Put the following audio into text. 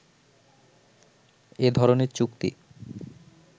এ ধরনের চুক্তি